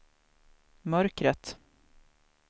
mörkret